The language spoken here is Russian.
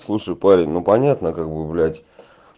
слушай парень ну понятно как бы блять